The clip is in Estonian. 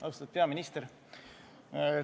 Austatud peaminister!